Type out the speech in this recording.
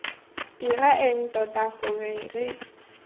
dira eng tota gore re